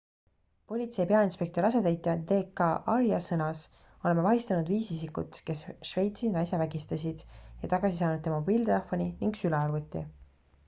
politsei peainspektori asetäitja d k arya sõnas oleme vahistanud viis isikut kes šveitsi naise vägistasid ja tagasi saanud tema mobiiltelefoni ning sülearvuti